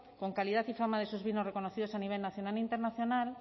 con calidad y fama de sus vinos reconocidos a nivel nacional e internacional